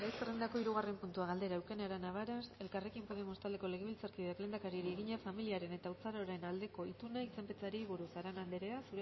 zerrendako hirugarren puntua galdera eukene arana varas elkarrekin podemos taldeko legebiltzarkideak lehendakariari egina familiaren eta haurtzaroaren aldeko ituna izenpetzeari buruz arana anderea